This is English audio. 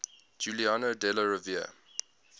giuliano della rovere